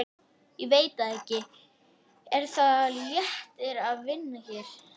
Telma Tómasson: Verður rætt um makríl Stóru málunum, Lóa?